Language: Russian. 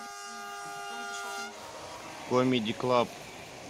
комеди клаб